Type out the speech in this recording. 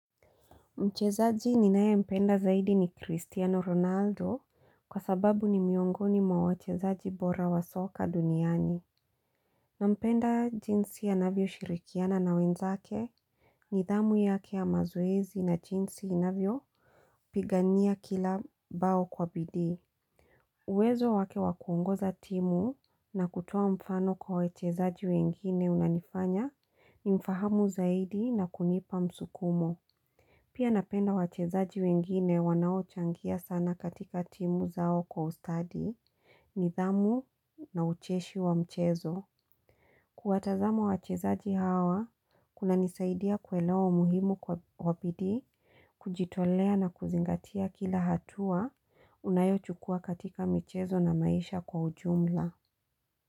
Mchezaji ninaempenda zaidi ni Cristiano Ronaldo kwa sababu ni miongoni mwa wachezaji bora wa soka duniani. Nampenda jinsi anavyoshirikiana na wenzake nidhamu yake ya mazoezi na jinsi inavyopigania kila bao kwa bidii uwezo wake wa kuongoza timu na kutoa mfano kwa wachezaji wengine unanifanya nimfahamu zaidi na kunipa msukumo. Pia napenda wachezaji wengine wanaochangia sana katika timu zao kwa ustadi, nidhamu na ucheshi wa mchezo. Kuwatazama wachezaji hawa, kunanisaidia kuelewa umuhimu kwa bidii, kujitolea na kuzingatia kila hatua unayochukua katika mchezo na maisha kwa ujumla.